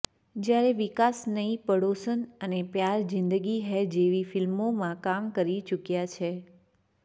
જ્યારે વિકાસ નઈ પડોસન અને પ્યાર જીંદગી હૈં જેવી ફિલ્મોમાં કામ કરી ચુક્યા છે